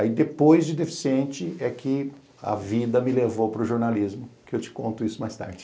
Aí, depois de deficiente, é que a vida me levou para o jornalismo, que eu te conto isso mais tarde.